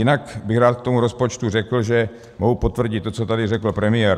Jinak bych rád k tomu rozpočtu řekl, že mohu potvrdit to, co tady řekl premiér.